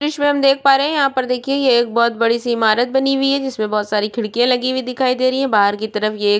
विशम देख पा रे यहाँ पर देखिये ये एक बहोत बड़ी सी इमारत बनी हुई है जिसमे बहोत सारी खिडकीया लगी हुई दिखाई दे रही है बाहर की तरफ एक --